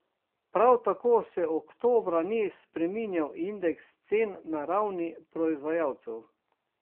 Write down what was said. Prav tako se oktobra ni spreminjal indeks cen na ravni proizvajalcev.